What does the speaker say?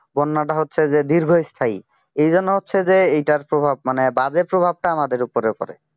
বন্যাটা হচ্ছে যে দীর্ঘস্থায়ী এই জন্য হচ্ছে যে এটার প্রভাব মানে বাজে প্রভাবটা আমাদের উপরে পড়ে